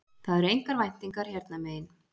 Það eru engar væntingar hérna megin